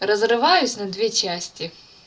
разрываюсь на две части